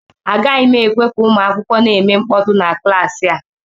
Agaghị m ekwe ka ụmụ akwụkwọ na-eme mkpọtụ na klaasị a